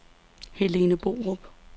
Helene Borup